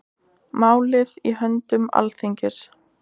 Málið í höndum Alþingis